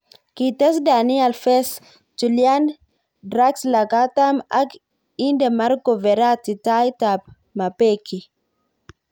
Ngites Dani Alfes, Chulian Draxler katam ak inde Marco Veratti tait ab mapeki